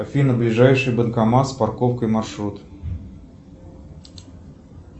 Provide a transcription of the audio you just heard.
афина ближайший банкомат с парковкой маршрут